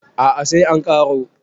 a a sai an karo